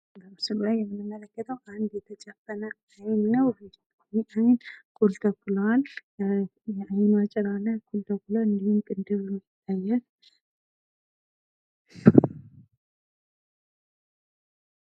በምስሉ ላይ የምንመለከተው አንድ የተጨፈነ አይን ነው የተጨፈነች አይን ኩል ተኩሏል የአይኖ ጭራ ላይ ኩል ተኩሏል እንዲሁም ቅንድብ ነው የሚታየን ።